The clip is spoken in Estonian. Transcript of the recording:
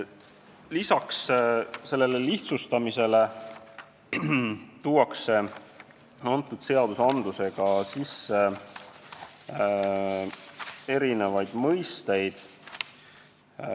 Lisaks sellele tuuakse selle seaduseelnõuga sisse uusi mõisteid.